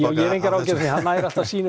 ég hef engar áhyggjur af því hann nær alltaf sínu